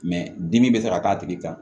dimi bɛ se ka k'a tigi kan